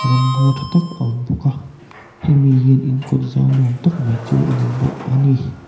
ram ngaw tha tak a awm bawk a hemi hian in kawt zau nuam tak mai chu a nei bawk a ni.